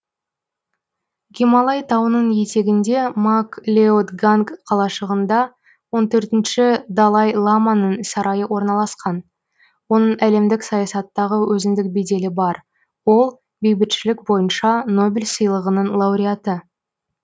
гималай тауының етегінде мак леод ганг қалашығында он төртінші далай ламаның сарайы орналасқан оның әлемдік саясаттағы өзіндік беделі бар ол бейбітшілік бойынша нобель сыйлығының лауреаты